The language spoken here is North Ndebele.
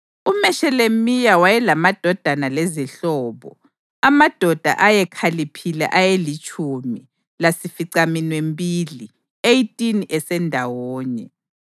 UMeshelemiya wayelamadodana lezihlobo, amadoda ayekhaliphile ayelitshumi lasificaminwembili (18) esendawonye.